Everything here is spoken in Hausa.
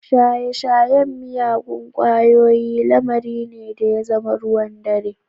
Shaye-shayen miyagun ƙwayoyi lamari ne da ya zama ruwan dare